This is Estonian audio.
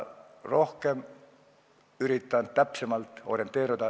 Üritan infomüras edaspidi täpsemalt orienteeruda.